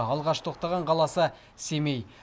алғаш тоқтаған қаласы семей